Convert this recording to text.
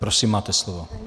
Prosím máte slovo.